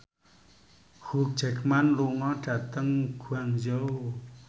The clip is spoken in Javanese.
Hugh Jackman lunga dhateng Guangzhou